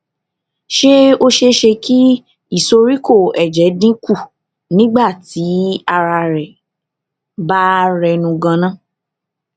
ṣé ó ṣeé ṣe kí ìsoríkó èjè dín kù nígbà tí ara rẹ bá rẹnu gan an